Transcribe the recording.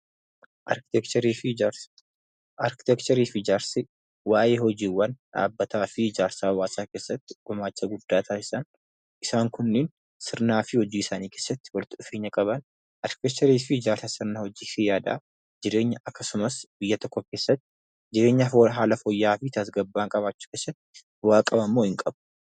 Arkiteekcharii fi ijaarsa Arkiteekcharii fi ijaarsi waa'ee hojiiwwan dhaabbataa fi hojii ijaarsa hawaasaa keessatti gumaacha guddaa taasisan isaan kunniin sirnaa fi gita hojii arkiteekcharii fi ijaarsa sirnaa hojii fi yaadaa jireenya akkasumas biyya tokko keessatti jireenya haala fooyya'aa fi tasgabbaa'aa qabaachuu keessatti bu'aa qaba moo hin qabu?